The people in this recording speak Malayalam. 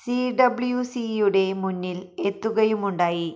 സിഡബ്ല്യുസിയുടെ മുന്നില് എത്തുകയുമുണ്ടായി